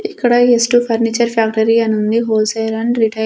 ఇక్కడ S two furniture factory అనుంది wholesale and retail .